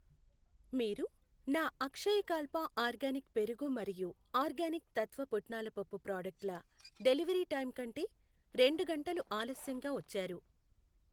మీరు నా అక్షయకాల్ప ఆర్గానిక్ పెరుగు మరియు ఆర్గానిక్ తత్వ పుట్నాల పప్పు ప్రాడక్టుల డెలివరీ టైం కంటే రెండు గంటలు ఆలస్యంగా వచ్చారు.